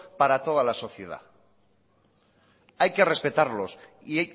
para toda la sociedad hay que respetarlos y